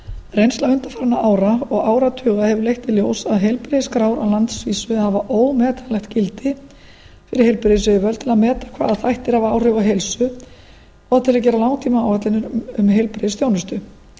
reynsla undanfarinna ára og áratuga hefur leitt í ljós að heilbrigðisskrár á landsvísu hafa ómetanlegt gildi fyrir heilbrigðisyfirvöld til að meta hvaða þættir hafa áhrif á heilsu og til að gera langtímaáætlanir um heilbrigðisþjónustu